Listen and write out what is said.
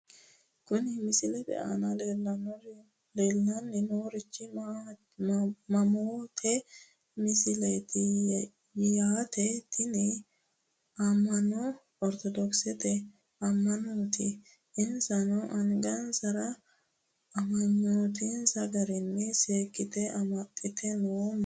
Kuni misilete aana leellanni noorichi ammannote misileeti yaate , tini amma'nono ortodokisete ammannooti. insano angansara amma'nonsa garinni sikko ammaxxe no manni leellanno.